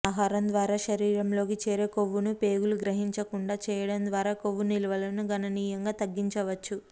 ఆహారం ద్వారా శరీరంలోకి చేరే కొవ్వును పేగులు గ్రహించకుండా చేయడం ద్వారా కొవ్వు నిల్వలను గణనీయంగా తగ్గించవచ్చు